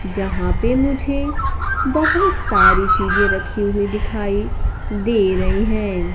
जहां पे मुझे बहोत सारी चीजे रखी हुई दिखाई दे रही है।